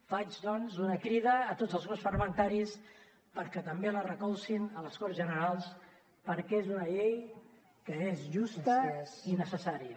faig doncs una crida a tots els grups parlamentaris perquè també la recolzin a les corts generals perquè és una llei que és justa i necessària